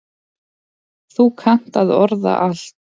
Þú kannt að orða allt.